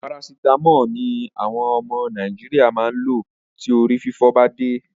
Paracetamol ni àwọn ọmọ Nàìjíríà máa lò tí orí fífọ́ ba dé.